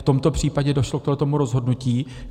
V tomto případě došlo k tomuto rozhodnutí.